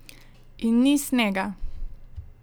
In ni snega!